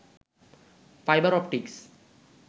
fibre optics